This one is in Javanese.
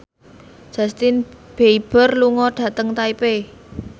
Justin Beiber lunga dhateng Taipei